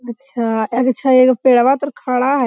अच्छा एगो छे एगो पैडवा तअ खड़ा है।